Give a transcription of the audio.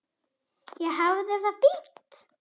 Ég hafði það fínt.